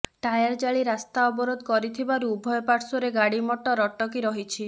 tyre ଜାଳି ରାସ୍ତା ଅବରୋଧ କରିଥିବାରୁ ଉଭୟ ପାର୍ଶ୍ବରେ ଗାଡି ମଟର ଅଟକି ରହିଛି